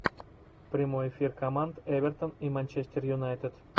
прямой эфир команд эвертон и манчестер юнайтед